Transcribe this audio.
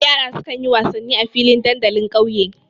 Yara sukan yi wasanni a filin dandalin ƙauye.